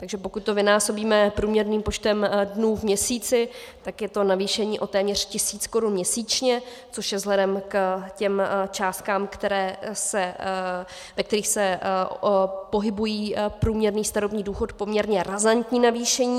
Takže pokud to vynásobíme průměrným počtem dnů v měsíci, tak je to navýšení o téměř tisíc korun měsíčně, což je vzhledem k těm částkám, ve kterých se pohybují průměrné starobní důchody, poměrně razantní navýšení.